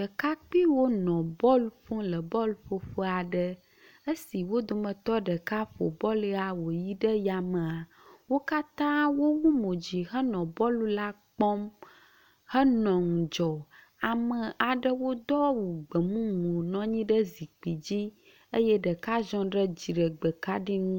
Ɖekakpiwo nɔ bɔl ƒom le teƒe bɔlƒoƒe aɖe. esi wo dometɔ ɖeka ƒo bɔl la woyi ɖe yamea wo katã wo wu mod zi henɔ bɔl la kpɔm henɔ ŋudzɔ. Ame aɖewo do awu gbemumu nɔ anyi ɖe zikpi dzi eye ɖeka ziɔ ɖe dziɖegbe kaɖi ŋu